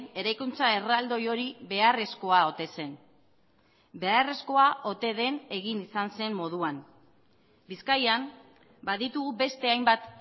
eraikuntza erraldoi hori beharrezkoa ote zen beharrezkoa ote den egin izan zen moduan bizkaian baditugu beste hainbat